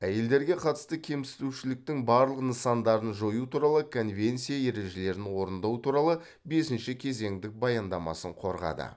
әйелдерге қатысты кемсітушіліктің барлық нысандарын жою туралы конвенция ережелерін орындау туралы бесінші кезеңдік баяндамасын қорғады